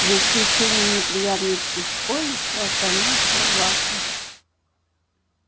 за исключением неприятностей с колли всё остальное шло гладко